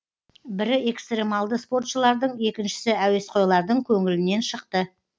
бірі экстремалды спортшылардың екіншісі әуесқойлардың көңілінен шықты